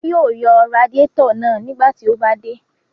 Adé yóò yọ radiátọ̀ náà nígbà tí ó bá dé.